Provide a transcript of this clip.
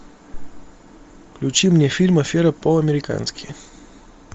включи мне фильм афера по американски